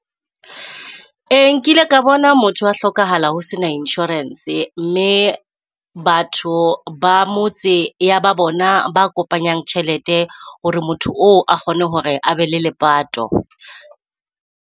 Ee, nkile ka bona motho a hlokahala ho sena insurance, mme batho ba motse ya ba bona ba kopanyang tjhelete hore motho oo a kgone hore abe le lepato.